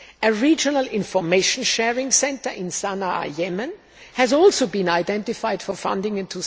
A regional information sharing centre in Sana'a, Yemen, has also been identified for funding in